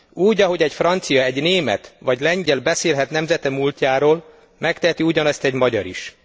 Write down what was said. Úgy, ahogy egy francia, egy német vagy lengyel beszélhet nemzete múltjáról, megteheti ugyanezt egy magyar is.